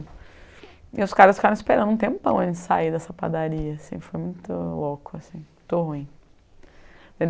E os caras ficaram esperando um tempão antes de sair dessa padaria assim, foi muito louco, muito ruim.